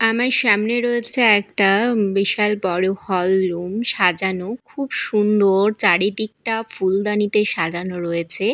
আমার সামনে রয়েছে একটা বিশাল বড় হল রুম সাজানো খুব সুন্দর চারিদিকটা ফুলদানিতে সাজানো রয়েছে।